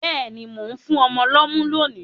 Béèni, mo n fún ọmọ lómú lónì